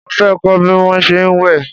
Mo fẹ́ kọ́ bí wón ṣe ń wẹ̀.